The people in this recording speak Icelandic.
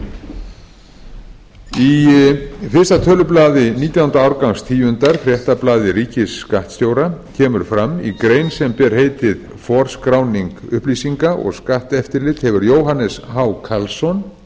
í fyrsta tölublaði nítjánda árgangs tíundar fréttablaði ríkisskattstjóra kemur fram í grein sem ber heitið forskráning upplýsinga og skatteftirlit eftir jóhannes h karlsson